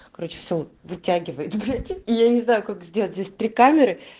короче все вытягивает блять я не знаю как сделать здесь три камеры